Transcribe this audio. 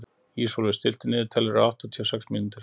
Ísólfur, stilltu niðurteljara á áttatíu og sex mínútur.